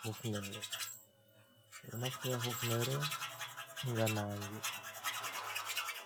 Hufnere. Ɓe ɗo naftita Hufnere ngam nange,